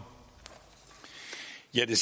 så